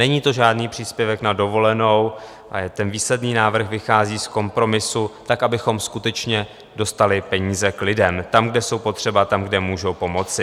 Není to žádný příspěvek na dovolenou, ale výsledný návrh vychází z kompromisu tak, abychom skutečně dostali peníze k lidem, tam, kde jsou potřeba, a tam, kde můžou pomoci.